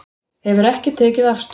Hefur ekki tekið afstöðu